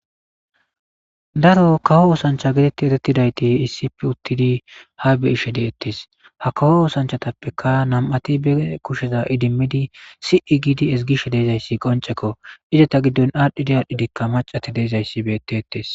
daro kawo oosancha gidetti eretidayti issi p uttidi ha be ishe deeettees ha kawo oosanchatappeka nam7ati be kusheza idimmidi si7i gidi esgishe deezayssi qoncekko izeta giddon aadhdhidi aadhdhidikka macati deezayssi beete ettees